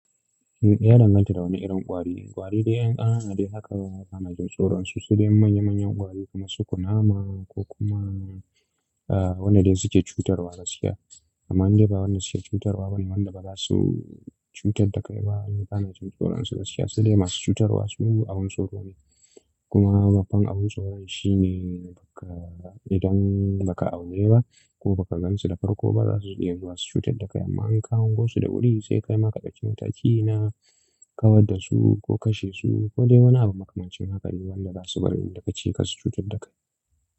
Eh yana danganta da wani irin ƙwari. Ƙwari dai anan a da haka wanda yana jin tsoron shi su dai manya manyan ƙwari kamar su kunama ko kuma wanda dai suke cutarwa gakiiya. Amma in dai ba wanda suke cutarwa bane wanda baza su cutar da kai ba. Wanda bana jin tsoron su basu iya su dai masu cutarwa su abun tsoro ne. Kuma babban abun tsoro shi ne idan baka aune ba ko baka gansu da farko ba za su iya zuwa su cutar da kai amma in ka hango su da wuri sai kai ma ka ɗauki mataki na kawar da su ko kashe su ko dai wani abu makamancin haka wanda zasu bari inda kace ka su cutar da kai.